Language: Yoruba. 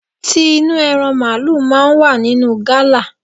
Ti inú ẹran màlúù máa ń wà nínú gala.